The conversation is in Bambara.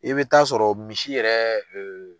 I bɛ taa sɔrɔ misi yɛrɛ